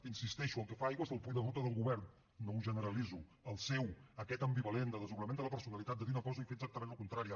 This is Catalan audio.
hi insisteixo el que fa aigües és el full de ruta del govern no ho generalitzo el seu aquest ambivalent de desdoblament de la personalitat de dir una cosa i fer exactament la contrària